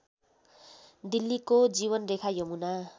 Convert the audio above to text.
दिल्लीको जीवनरेखा यमुना